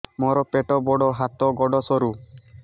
ମୋର ପେଟ ବଡ ହାତ ଗୋଡ ସରୁ